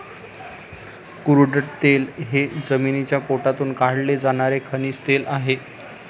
Crude तेल हे जमिनीच्या पोटातून काढले जाणारे खनिज तेल आहे.